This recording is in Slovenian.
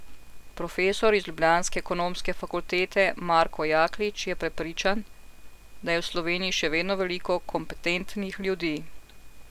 Profesor z ljubljanske ekonomske fakultete Marko Jaklič je prepričan, da je v Sloveniji še vedno veliko kompetentnih ljudi.